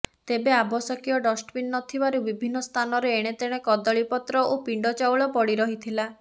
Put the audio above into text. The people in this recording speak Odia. ତେବେ ଆବଶ୍ୟକୀୟ ଡଷ୍ଟବିନ୍ ନଥିବାରୁ ବିଭନ୍ନ ସ୍ଥାନରେ ଏଣେତେଣେ କଦଳୀପତ୍ର ଓ ପିଣ୍ଡ ଚାଉଳ ପଡ଼ି ରହିଥିଲା